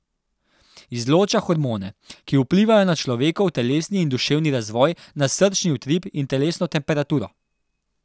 Izloča hormone, ki vplivajo na človekov telesni in duševni razvoj, na srčni utrip in telesno temperaturo.